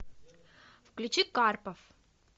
включи карпов